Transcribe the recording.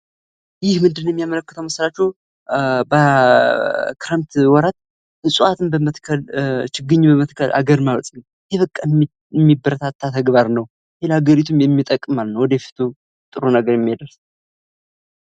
ይህ ምንድነው መሰላችሁ በክረምት ወራት እጽዋትን በመትከል፣ ቺግኝ በመትከል ሃገርን ማበልጸግ ፤ ይህ በቃ የሚበረታታ ተግባር ነው ለወደፊቱም የሚጠቅም ተግባር ነው።